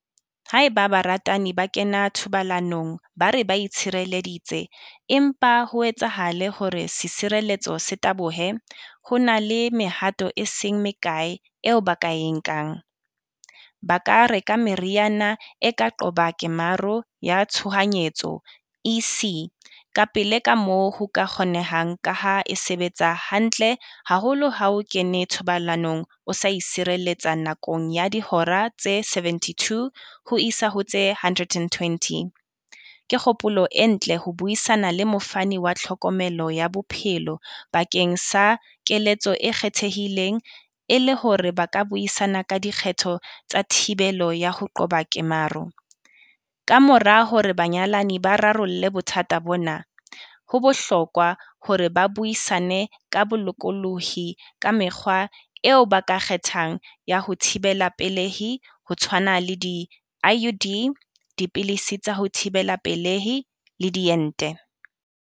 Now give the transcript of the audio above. Haeba baratani ba kena thobalanong ba re ba itshireleditse, empa ho etsahale hore setshireletso se tabohe, ho na le mehato e seng mekae eo ba ka e nkang. Ba ka reka meriana e ka qoba kemaro ya tshohanyetso E_C ka pele ka moo ho ka kgonehang ka ha e sebetsa hantle haholo ha o kena thobalanong o sa itshireletsa nakong ya dihora tse seventy-two ho isa ho tse hundred and twenty. Ke kgopolo e ntle ho buisana le mofani wa tlhokomelo ya bophelo bakeng sa keletso e kgethehileng e le hore ba ka buisana ka dikgetho tsa thibelo ya ho qoba kemaro. Kamora hore banyalani ba rarolle bothata bona. Ho bohlokwa hore ba buisane ka bolokolohi ka mekgwa eo ba ka kgethang ya ho thibela pelehi ho tshwana le di-I_U_D, dipilisi tsa ho thibela pelehi le diente.